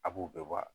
A b'u bɛɛ bɔ wa